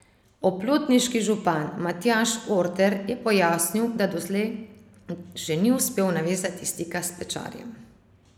Oplotniški župan Matjaž Orter je pojasnil, da doslej še ni uspel navezati stika s Pečarjem.